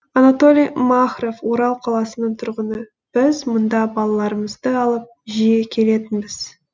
анатолий махров орал қаласының тұрғыны біз мұнда балаларымызды алып жиі келетінбіз